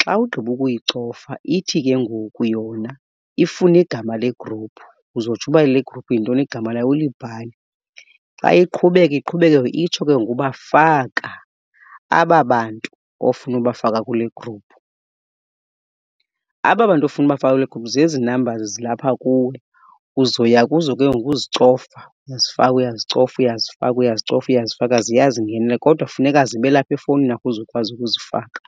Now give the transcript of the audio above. Xa ugqiba ukuyicofa ithi ke ngoku yona ifuna igama legruphu, uzotsho uba le gruphu yintoni igama layo ulibhale. Xa iqhubeka iqhubekeka itsho ke ngoku uba faka aba bantu ofuna ubafaka kule gruphu. Aba bantu ofuna ubafaka kule gruphu zezi numbers zilapha kuwe. Uzoya kuzo ke ngoku uzicofa uzifaka, uyazicofa uyazifaka, uyazicofa uyazifaka ziyazingenela. Kodwa funeka zibe lapha efowunini yakho uze ukwazi ukuzifaka.